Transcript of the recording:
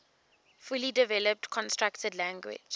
fully developed constructed language